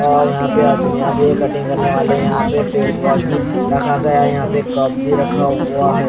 यहाँ पे आदमियाँ भी कटिंग करने वाले हैं यहाँ पे फेस वाश भी रखा गया है यहाँ पे कप भी रखा हुआ है।